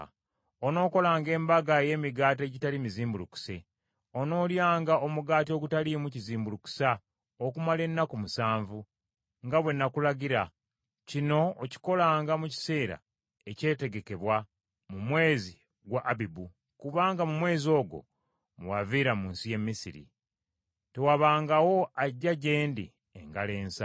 “Onookolanga Embaga ey’Emigaati Egitali Mizimbulukuse. Onoolyanga omugaati ogutaliimu kizimbulukusa okumala ennaku musanvu, nga bwe nakulagira. Kino okikolanga mu kiseera ekyategekebwa, mu mwezi gwa Abibu, kubanga mu mwezi ogwo mwe waviira mu nsi y’e Misiri. “Tewabangawo ajja gye ndi engalo ensa.